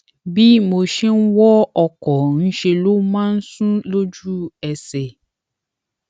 bí mo ṣe ń wọ ọkọ ńṣe ló máa ń sùn lójú ẹsè